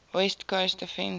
west coast offense